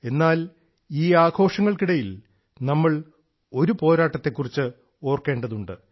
എന്നാൽ ഈ ആഘോഷങ്ങൾക്കിടയിൽ നമ്മൾ ഒരു പോരാട്ടത്തെക്കുറിച്ച് ഓർക്കേണ്ടതുണ്ട്